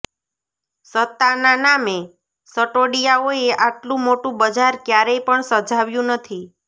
સત્તાના નામે સટોડિયાઓએ આટલું મોટું બજાર ક્યારેય પણ સજાવ્યું નથી